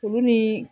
Olu ni